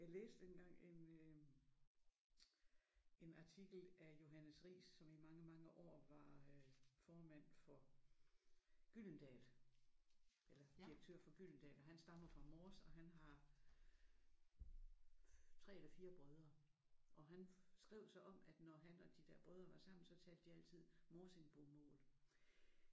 Jeg læste engang en øh en artikel af Johannes Riis som i mange mange år var øh formand for Gyldendal eller direktør for Gyldendal og han stammer fra Mors og han har 3 eller 4 brødre og han skrev så om at når han og de der brødre var sammen så talte de altid morsingbomål